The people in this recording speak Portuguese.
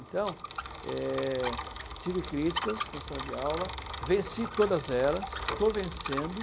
Então, é, tive críticas na sala de aula, venci todas elas, estou vencendo.